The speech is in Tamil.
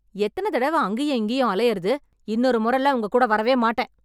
எத்தனை தடவ அங்கயும் இங்கயும் அலையுறது? இன்னொரு முறைலாம் உங்கக்கூட வரவே மாட்டேன்.